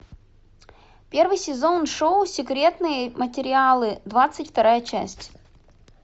первый сезон шоу секретные материалы двадцать вторая часть